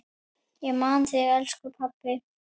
Ég man þig, elsku pabbi.